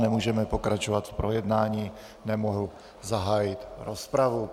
Nemůžeme pokračovat v projednání, nemohu zahájit rozpravu.